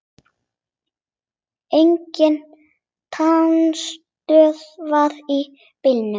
Engin talstöð var í bílnum.